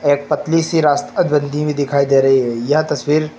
एक पतली सी रास्ता हुई दिखाई दे रही है यह तस्वीर--